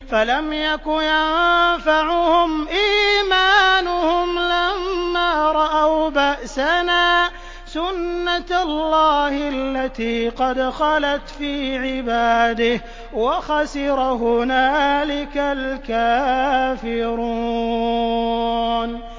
فَلَمْ يَكُ يَنفَعُهُمْ إِيمَانُهُمْ لَمَّا رَأَوْا بَأْسَنَا ۖ سُنَّتَ اللَّهِ الَّتِي قَدْ خَلَتْ فِي عِبَادِهِ ۖ وَخَسِرَ هُنَالِكَ الْكَافِرُونَ